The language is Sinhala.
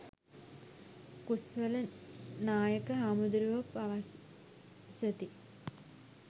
කුස්වල නායක හාමුදුරුවෝ පවසති.